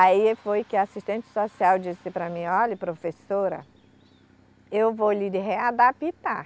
Aí foi que a assistente social disse para mim, olha professora, eu vou lhe readaptar.